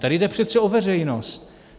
Tady jde přece o veřejnost.